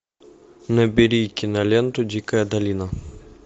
набери киноленту дикая долина